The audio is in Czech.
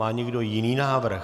Má někdo jiný návrh?